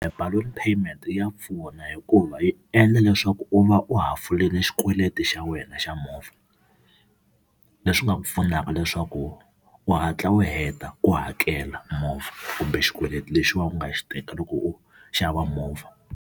Balloon payment ya pfuna hikuva yi endla leswaku u va u ha hafulile xikweleti xa wena xa movha, leswi nga ku pfunaka leswaku u hatla u heta ku hakela movha kumbe xikweleti lexiwani u nga xi teka loko u xava movha.